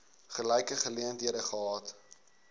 gelyke geleenthede gehad